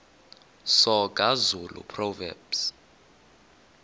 soga zulu proverbs